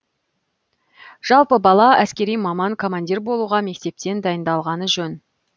жалпы бала әскери маман командир болуға мектептен дайындалғаны жөн